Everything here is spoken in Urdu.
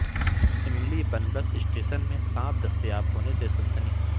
املی بن بس اسٹیشن میں سانپ دستیاب ہونے سے سنسنی